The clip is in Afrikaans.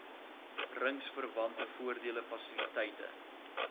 ringsverwante voordele fasiliteite